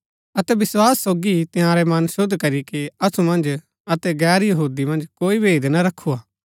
अतै विस्वास सोगी ही तंयारै मन शुद्ध करीके असु मन्ज अतै गैर यहूदी मन्ज कोई भेद ना रखुआ